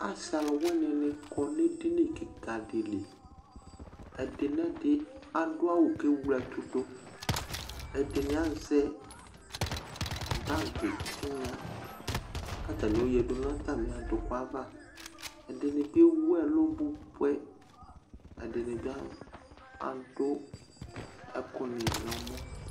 Asɩ aluwini nɩ kɔ nʋ edini kika dɩ li Ɛdɩnɛdɩ adʋ awʋ kʋ ewle ɛtʋ dʋ Ɛdɩnɩ azɛ bagɩ tɩnya kʋ atani ayoyǝdʋ nʋ atami aduku ava Ɛdɩnɩ bɩ ewʋɛlʋ bʋbʋɛ, ɛdɩnɩ bɩ adʋ ɛkʋnɩ nʋ ɛmɔ